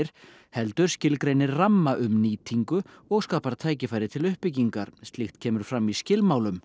heldur skilgreinir ramma um nýtingu og skapar tækifæri til uppbyggingar slíkt kemur fram í skilmálum